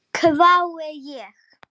hvái ég.